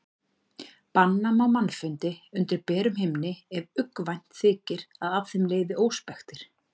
Banna má mannfundi undir berum himni ef uggvænt þykir að af þeim leiði óspektir.